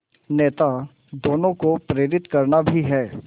नेता दोनों को प्रेरित करना भी है